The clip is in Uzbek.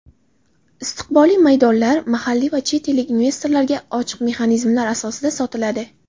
istiqbolli maydonlar mahalliy va chet ellik investorlarga ochiq mexanizmlar asosida sotiladi.